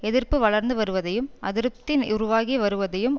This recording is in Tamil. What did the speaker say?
எதிர்ப்பு வளர்ந்து வருவதையும் அதிருப்தி உருவாகி வருவதையும்